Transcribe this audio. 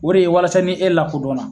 O de ye walasa ni e lakodɔnna